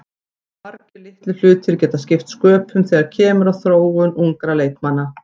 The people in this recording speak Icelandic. Svo margir litlir hlutir geta skipt sköpum þegar kemur að þróun ungra leikmanna.